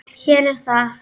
Hér er það!